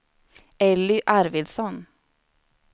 Elly Arvidsson